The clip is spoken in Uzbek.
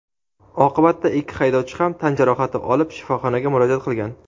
Oqibatda ikki haydovchi ham tan jarohati olib shifoxonaga murojaat qilgan.